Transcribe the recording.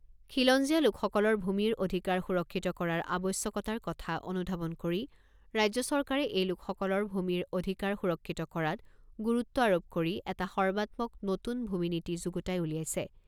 খিলঞ্জীয়া লোকসকলৰ ভূমিৰ অধিকাৰ সুৰক্ষিত কৰাৰ আৱশ্যকতাৰ কথা অনুধাৱন কৰি ৰাজ্য চৰকাৰে এই লোকসকলৰ ভূমিৰ অধিকাৰ সুৰক্ষিত কৰাত গুৰুত্ব আৰোপ কৰি এটা সৰ্বাত্মক নতুন ভূমি নীতি যুগুতাই উলিয়াইছে।